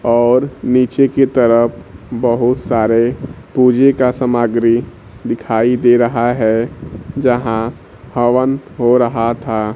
और नीचे की तरफ बहोत सारे पूजे का सामग्री दिखाई दे रहा है जहां हवन हो रहा था।